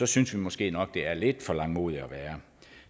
synes vi måske nok det er lidt for langmodig at være